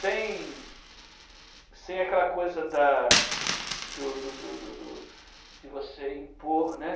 sem sem aquela coisa da do do do do do de você impor, né?